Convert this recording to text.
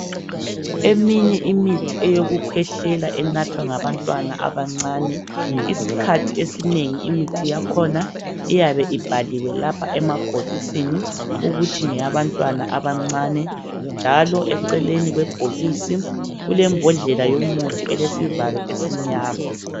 Eminye imithi yokukhwehlela enathwa ngabantwana abancane isikhathi esinengi imithi yakhona iyabe ibhaliwe lapha emabhokisini ukuthi ngeyabantwana abancane njalo eceleni kwebhokisi kulembodlela yomuthi elesivalo esimnyama.